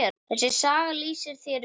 Þessi saga lýsir þér vel.